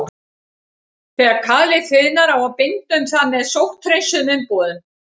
Þegar kalið þiðnar á að binda um það með sótthreinsuðum umbúðum.